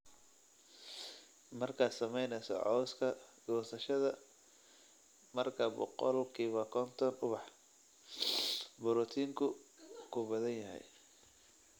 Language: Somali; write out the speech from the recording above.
Markaad samaynayso cawska goosashada marka boqolkiba konton ubax, borotiinku ku badan yahay"